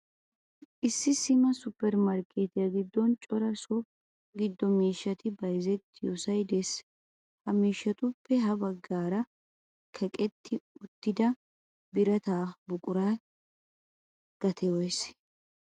Issi sima supper marketiya giddon cora so giddo miishshati bayzzetiyoosay de'ees. Ha miishatuppe ha baggaara kaqqeti uttida birata buqura gatee woyssee?